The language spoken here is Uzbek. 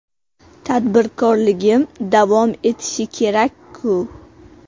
Tadbirkorligim davom etishi kerak-ku.